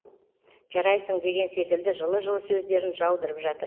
жарайсың деген секілді жылы жылы сөздерін жаудырып жатыр